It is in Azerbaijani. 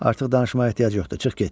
Artıq danışmağa ehtiyac yoxdur.